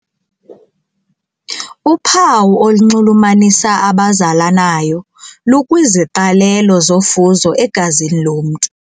Uphawu olunxulumanisa abazalanayo lukwiziqalelo zofuzo egazini lomntu.